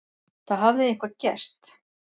Það hafði eitthvað gerst.